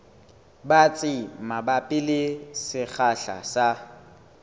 batsi mabapi le sekgahla sa